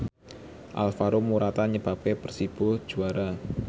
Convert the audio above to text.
Alvaro Morata nyebabke Persibo juara